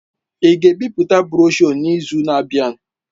Ị ga-ebipụta broshuọ n'izu na-abịa?